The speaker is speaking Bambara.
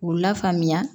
K'u la faamuya